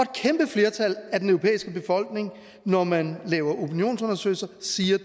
flertal af den europæiske befolkning når man laver opinionsundersøgelser siger at